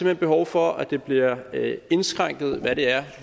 hen behov for at det bliver indskrænket hvad det er